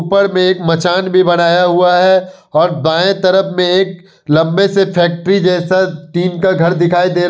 ऊपर में एक मचान भी बनाया हुआ हैं और बाए तरफ मे एक लंबे से फैक्टरी जैसा टिन का घर दिखाई दे रहा--